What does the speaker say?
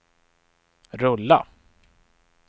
rulla